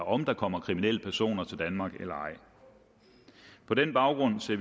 om der kommer kriminelle personer til danmark eller ej på den baggrund ser